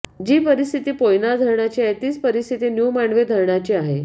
जी परिस्थिती पोयनार धरणाची आहे तीच परिस्थिती न्यु मांडवे धरणाची आहे